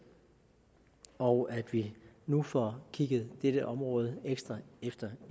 og at vi nu får kigget dette område ekstra efter